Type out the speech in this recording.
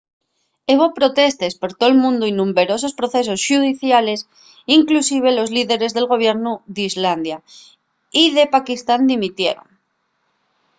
hebo protestes per tol mundu y numberosos procesos xudiciales inclusive los líderes del gobiernu d'islandia y de pakistán dimitieron